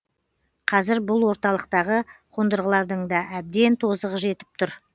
қазір бұл орталықтағы қондырғылардың да әбден тозығы жетіп тұр